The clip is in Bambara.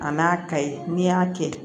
A n'a ka ye n'i y'a kɛ